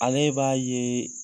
Ale b'a ye